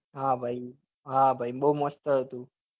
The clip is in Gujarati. હા ભાઈ હા ભાઈ બઉ મસ્ત હતું